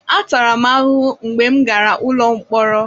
Atara m ahụhụ mgbe m gara ụlọ mkpọrọ.